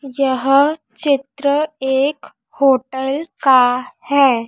यह चित्र एक होटल का है।